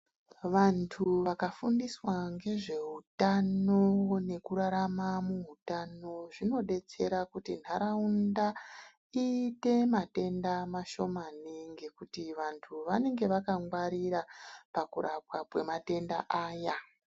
Vantu vakafundiswa ngezveutano nekurarama muutano zvinodetsera kuti nharaunda iite matenda mashomani ngekuti vantu vanenge vakangwarira pakurapwa kwematenda aya.